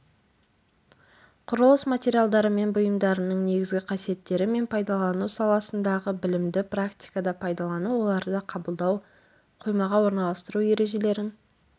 құрылыс материалдары мен бұйымдарынның негізгі қасиеттері мен пайдалану саласындағы білімді практикада пайдалану оларды қабылдау қоймаға орналастыру ережелерін